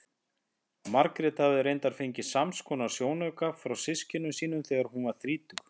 Margrét hafði reyndar fengið samskonar sjónauka frá systkinum sínum þegar hún varð þrítug.